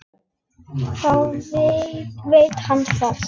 Þá veit hann það!